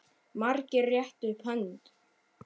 Margir réttu upp hönd.